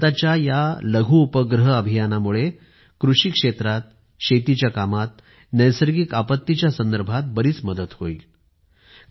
आणि भारताच्या या लघु उपग्रह अभियानामुळे कृषी क्षेत्रात शेतीच्या कामात नैसर्गिक आपत्तीच्या संदर्भात बरीच मदत होईल